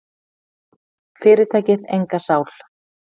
Fyrirtækið enga sál.